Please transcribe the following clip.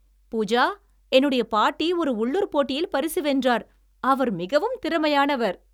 பூஜா, என்னுடைய பாட்டி ஒரு உள்ளூர் போட்டியில் பரிசு வென்றார், அவர் மிகவும் திறமையானவர்!